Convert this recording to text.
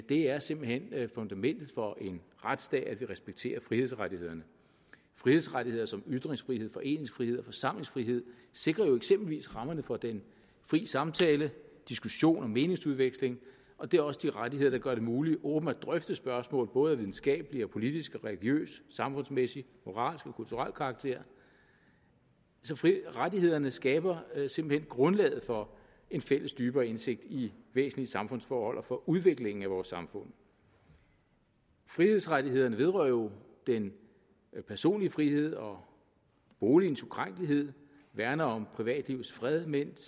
det er simpelt hen fundamentet for en retsstat at vi respekterer frihedsrettighederne frihedsrettigheder som ytringsfrihed foreningsfrihed og forsamlingsfrihed sikrer jo eksempelvis rammerne for den frie samtale diskussion og meningsudveksling og det er også de rettigheder der gør det muligt åbent at drøfte spørgsmål både af videnskabelig politisk religiøs samfundsmæssig moralsk og kulturel karakter så rettighederne skaber simpelt hen grundlaget for en fælles dybere indsigt i væsentlige samfundsforhold og for udviklingen af vores samfund frihedsrettighederne vedrører jo den personlige frihed og boligens ukrænkelighed værner om privatlivets fred mens